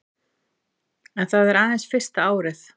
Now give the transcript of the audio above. En það er aðeins fyrsta árið